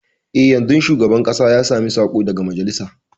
E, yanzun shugaban ƙasa ya sami saƙo daga majalisa.